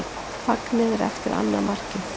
Fagnið er eftir annað markið.